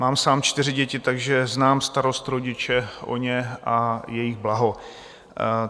Mám sám čtyři děti, takže znám starost rodiče o ně a jejich blaho.